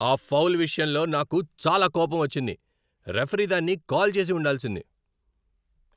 ఆ ఫౌల్ విషయంలో నాకు చాలా కోపం వచ్చింది! రిఫరీ దాన్ని కాల్ చేసి ఉండాల్సింది.